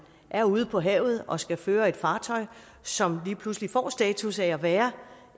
er ude på havet og skal føre et fartøj som lige pludselig får status af at være